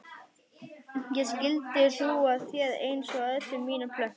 Ég skyldi hlú að þér einsog öllum mínum plöntum.